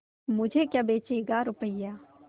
मुझे क्या बेचेगा रुपय्या